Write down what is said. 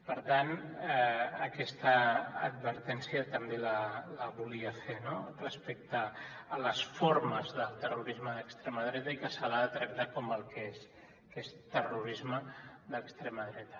per tant aquesta advertència també la volia fer no respecte a les formes del terrorisme d’extrema dreta i que se l’ha de tractar com el que és que és terrorisme d’extrema dreta